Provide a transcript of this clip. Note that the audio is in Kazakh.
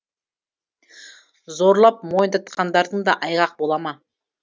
зорлап мойындатқандарың да айғақ бола ма